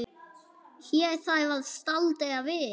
Hér þarf að staldra við.